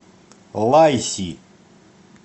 лайси